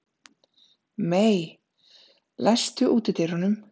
Mey, læstu útidyrunum.